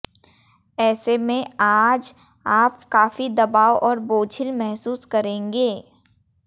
ऐसे में आज आप काफी दबाव और बोझिल महसूस करेंगे